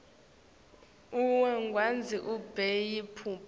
uyawugandza ube yimphuphu